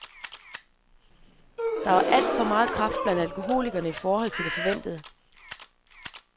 Der var alt for meget kræft blandt alkoholikerne i forhold til det forventede.